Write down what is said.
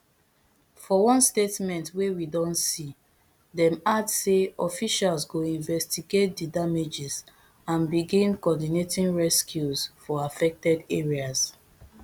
for one statement wey we don see dem add say officials go investigate di damages and begin coordinating rescues for affected areas